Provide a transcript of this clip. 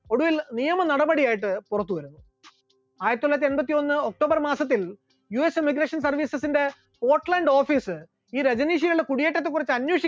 ഒടുവിൽ നിയമ നടപടിയായിട്ട് പുറത്തുവരുന്നു, ആയിരത്തിത്തൊള്ളായിരത്തി എൺപത്തിയൊന്ന് october മാസത്തിൽ US emigration service ത്തിന്റെ സ്‍കോട്‍ലാൻഡ് office ൽ ഈ രജനീഷുകളുടെ കുടിയേറ്റത്തെ ക്കുറിച്ച് അന്വേഷിക്കാൻ